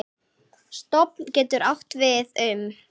Stofn getur átt við um